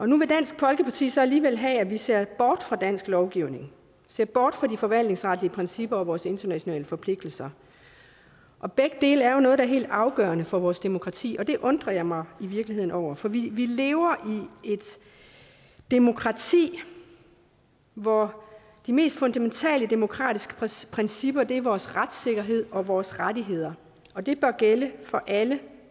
nu vil dansk folkeparti så alligevel have at vi ser bort fra dansk lovgivning ser bort fra de forvaltningsretlige principper og vores internationale forpligtelser og begge dele er jo noget der er helt afgørende for vores demokrati så det undrer jeg mig i virkeligheden over for vi lever i et demokrati hvor de mest fundamentale demokratiske principper er vores retssikkerhed og vores rettigheder og det bør gælde for alle